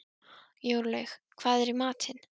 Jórlaug, hvað er í matinn?